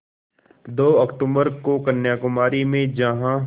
दो अक्तूबर को कन्याकुमारी में जहाँ